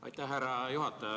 Aitäh, härra juhataja!